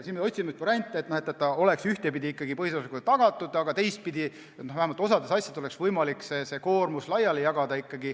Me otsime nüüd variante, et põhiseaduslikkus oleks ikkagi tagatud, aga et vähemalt osa asjade puhul oleks võimalik koormust ümber jagada.